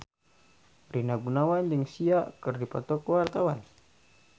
Rina Gunawan jeung Sia keur dipoto ku wartawan